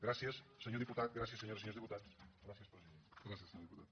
gràcies senyor diputat gràcies senyores i senyors diputats gràcies president